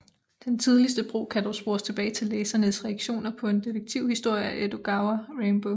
Den tidligste brug kan dog spores tilbage til læsernes reaktioner på en detektivhistorie af Edogawa Rampo